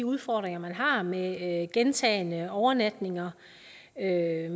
udfordringer man har med gentagne overnatninger af